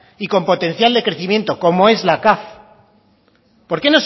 y con potencial de crecimiento como es la caf